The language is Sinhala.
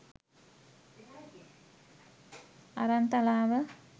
Aranthalawa